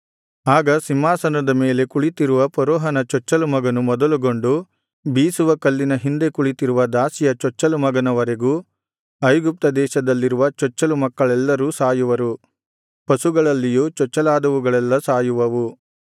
ಆಗ ಸಿಂಹಾಸನದ ಮೇಲೆ ಕುಳಿತಿರುವ ಫರೋಹನ ಚೊಚ್ಚಲು ಮಗನು ಮೊದಲುಗೊಂಡು ಬೀಸುವಕಲ್ಲಿನ ಹಿಂದೆ ಕುಳಿತಿರುವ ದಾಸಿಯ ಚೊಚ್ಚಲು ಮಗನವರೆಗೂ ಐಗುಪ್ತ ದೇಶದಲ್ಲಿರುವ ಚೊಚ್ಚಲು ಮಕ್ಕಳೆಲ್ಲರೂ ಸಾಯುವರು ಪಶುಗಳಲ್ಲಿಯೂ ಚೊಚ್ಚಲಾದವುಗಳೆಲ್ಲಾ ಸಾಯುವವು